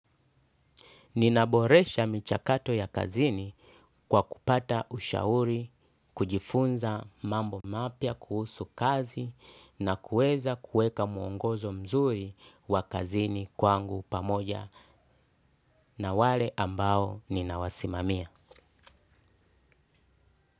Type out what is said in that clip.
Ninaboresha michakato ya kazini kwa kupata ushauri, kujifunza mambo mapya kuhusu kazi na kueza kueka muongozo mzuri wa kazini kwangu pamoja na wale ambao ninawa simamia.